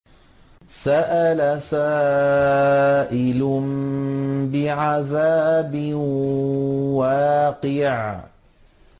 سَأَلَ سَائِلٌ بِعَذَابٍ وَاقِعٍ